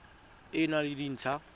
e e nang le dintlha